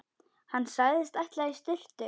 Hann sagðist ætla í sturtu.